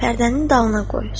Pərdənin dalına qoy.